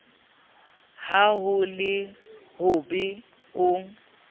ha ho le hobe o